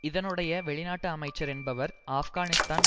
இதனுடைய வெளிநாட்டு அமைச்சர் என்பவர் ஆப்கானிஸ்தான்